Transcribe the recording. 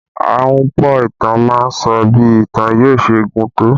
Ahunpọ̀ ìtàn má ń sọ bí ìtàn yóò ṣe gùn tó